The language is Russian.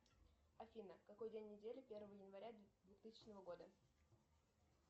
афина какой день недели первого января двухтысячного года